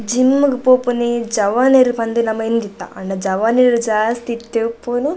gym ಗ್ ಪೋಪಿನಿ ಜವನೆರ್ ಪಂದ್ ನಮ ಎಂದಿತ್ತ ಆಂಡ ಜವನೆರ್ ಜಾಸ್ತಿ ಇತ್ತೆ ಇಪ್ಪುನು --